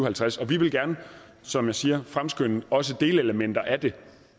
halvtreds og vi vil gerne som jeg siger fremskynde også delelementer af det